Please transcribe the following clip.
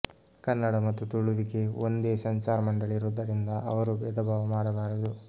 ಕನ್ನಡ ಮತ್ತು ತುಳುವಿಗೆ ಒಂದೇ ಸೆನ್ಸಾರ್ ಮಂಡಳಿ ಇರುವುದರಿಂದ ಅವರೂ ಭೇದಭಾವ ಮಾಡಬಾರದು